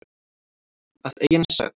Að eigin sögn.